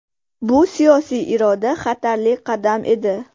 Bu siyosiy iroda, xatarli qadam edi.